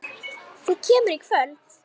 Þú kemur í kvöld!